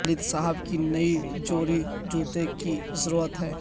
والد صاحب کی نئی جوڑی جوتے کی ضرورت ہے